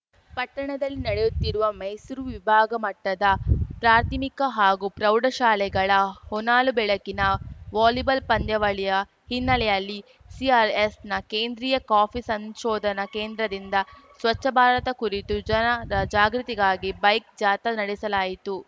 ಪಟ್ಟಣದಲ್ಲಿ ನಡೆಯುತ್ತಿರುವ ಮೈಸೂರು ವಿಭಾಗಮಟ್ಟದ ಪ್ರಾಥಮಿಕ ಮತ್ತು ಪ್ರೌಢಶಾಲೆಗಳ ಹೊನಲು ಬೆಳಕಿನ ವಾಲಿಬಾಲ್‌ ಪಂದ್ಯಾವಳಿಯ ಹಿನ್ನೆಲೆಯಲ್ಲಿ ಸಿಆರ್‌ಎಸ್‌ನ ಕೇಂದ್ರೀಯ ಕಾಫಿ ಸಂಶೋಧನಾ ಕೇಂದ್ರದಿಂದ ಸ್ವಚ್ಛ ಭಾರತ ಕುರಿತು ಜನ ಜಾಗೃತಿಗಾಗಿ ಬೈಕ್‌ ಜಾಥಾ ನಡೆಸಲಾಯಿತು